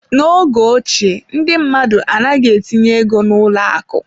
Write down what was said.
N'oge ochie, ndị mmadụ anaghị etinye ego n'ụlọ akụ.